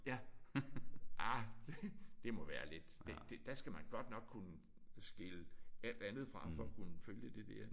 Ja. Ah det må være lidt det der skal man godt nok kunne skille alt andet fra for at kunne følge det der